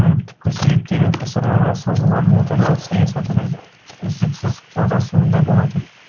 оның түпкі себептері ғасырларға созылған отарлау саясатының үздіксіз жалғасуында болатын